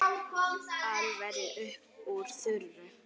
Alveg upp úr þurru?